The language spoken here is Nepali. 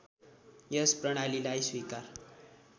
यस प्रणालीलाई स्वीकार